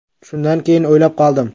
Shundan keyin o‘ylab qoldim.